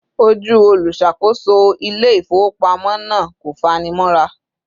Ojú olùṣàkóso ilé ifowopamọ na kò fani mora